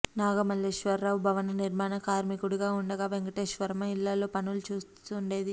నాగమల్లేశ్వరరావు భవన నిర్మాణ కార్మికుడిగా ఉండగా వెంకటేశ్వరమ్మ ఇళ్లల్లో పనులు చేస్తుండేది